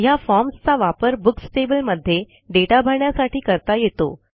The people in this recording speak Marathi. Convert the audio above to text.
ह्या फॉर्म चा वापर बुक्स टेबल मध्ये दाता भरण्यासाठी करता येतो